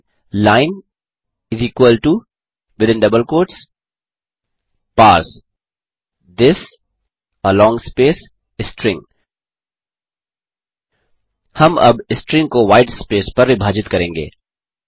type करें line parse this string हम अब इस स्ट्रिंग को व्हाईट स्पेस पर विभाजित करेंगे